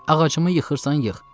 Ağacımı yıxırsan, yıx.